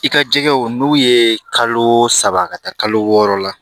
I ka jɛgɛw n'u ye kalo saba ka taa kalo wɔɔrɔ la